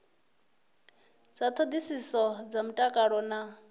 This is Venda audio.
dza hoisiso dza mutakalo na